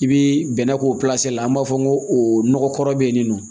I bi bɛnɛ k'o la an b'a fɔ ko nɔgɔkɔrɔ be yen nin nɔ